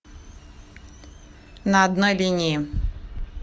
на одной линии